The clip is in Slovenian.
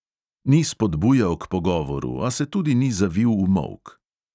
Ni spodbujal k pogovoru, a se tudi ni zavil v molk.